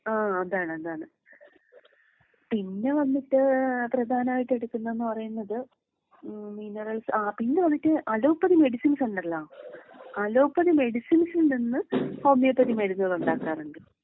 ആഹ് അതാണ് അതാണ്. പിന്നെ വന്നിട്ട് ഏഹ് പ്രധാനമായിട്ട് എടുക്കുന്നത് എന്ന് പറയുന്നത് മിനറൽസ് ആ പിന്നെ വന്നിട്ട് അലോപ്പതി മെഡിസിൻസ് ഉണ്ടല്ലോ അലോപ്പതി മെഡിസിൻസിൽ നിന്ന് ഹോമിയോപ്പതി മരുന്നുകൾ ഉണ്ടാക്കാറുണ്ട്.